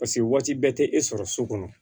Paseke waati bɛɛ tɛ e sɔrɔ so kɔnɔ